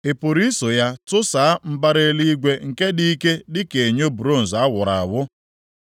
ị pụrụ iso ya tụsaa mbara eluigwe nke dị ike dịka enyo bronz a wụrụ awụ?